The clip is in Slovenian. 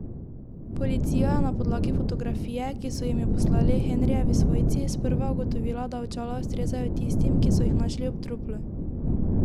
Policija je na podlagi fotografije, ki so jim jo poslali Henrijevi svojci, sprva ugotovila, da očala ustrezajo tistim, ki so jih našli ob truplu.